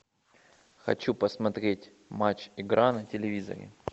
хочу посмотреть матч игра на телевизоре